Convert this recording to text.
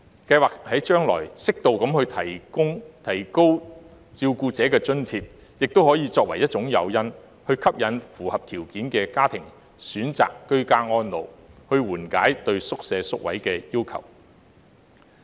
計劃將來，適度提高照顧者津貼，亦可作為一種誘因，吸引符合條件的家庭選擇居家安老，緩解對院舍宿位的需求。